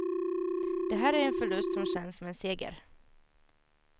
Det här är en förlust som känns som en seger.